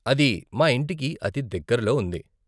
అది మా ఇంటికి అతి దగ్గరలో ఉంది.